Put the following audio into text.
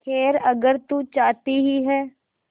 खैर अगर तू चाहती ही है